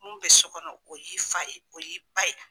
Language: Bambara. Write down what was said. Min bɛ so kɔnɔ o y'i fa ye, o y'i ba ye.